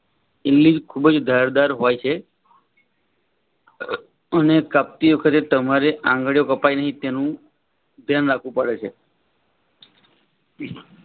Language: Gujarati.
ઈમ્લીજ ખુબજ ધાર દર હોય છે. અને કાપતી વખતે તમારે આગળો કપાય નહિ તેનું ધ્યાન રાખવું પડે છે.